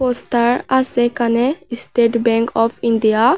Poster আসে এখানে state bank of India.